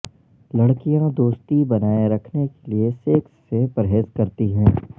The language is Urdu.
لڑکیاں دوستی بنائے رکھنے کیلئے سیکس سے پرہیز کرتی ہیں